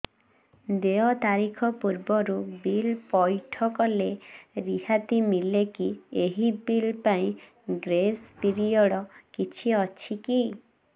ଦେୟ ତାରିଖ ପୂର୍ବରୁ ବିଲ୍ ପୈଠ କଲେ ରିହାତି ମିଲେକି ଏହି ବିଲ୍ ପାଇଁ ଗ୍ରେସ୍ ପିରିୟଡ଼ କିଛି ଅଛିକି